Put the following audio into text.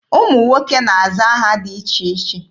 Ụmụ nwoke na-aza aha dị iche iche.